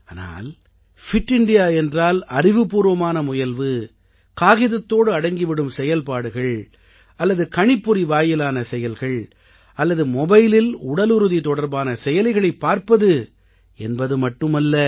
ஆனால் fit India என்றால் அறிவுபூர்வமான முயல்வு காகிதத்தோடு அடங்கிவிடும் செயல்பாடுகள் அல்லது கணிப்பொறி வாயிலான செயல்கள் அல்லது மொபைலில் உடலுறுதி தொடர்பான செயலிகளைப் பார்ப்பது என்பது மட்டுமல்ல